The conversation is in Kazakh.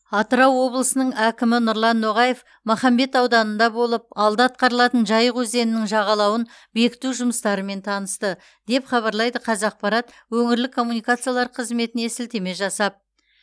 атырау облысының әкімі нұрлан ноғаев махамбет ауданында болып алда атқарылатын жайық өзенінің жағалауын бекіту жұмыстарымен танысты деп хабарлайды қазақпарат өңірлік коммуникациялар қызметіне сілтеме жасап